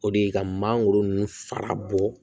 O de ye ka mangoro ninnu fara bɔ